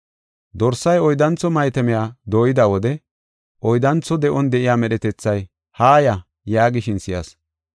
Dorsay oyddantho maatamiya dooyida wode oyddantho de7on de7iya medhetethay, “Haaya!” yaagishin si7as.